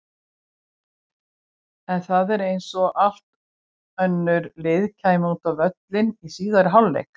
En það var eins og allt önnur lið kæmu út á völlinn í síðari hálfleik.